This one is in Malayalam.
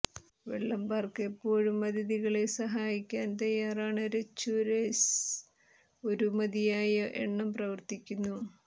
വെള്ളം പാർക്ക് എപ്പോഴും അതിഥികളെ സഹായിക്കാൻ തയ്യാറാണ് രെസ്ചുഎര്സ് ഒരു മതിയായ എണ്ണം പ്രവർത്തിക്കുന്നു